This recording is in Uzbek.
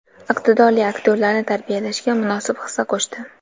iqtidorli aktyorlarni tarbiyalashga munosib hissa qo‘shdi.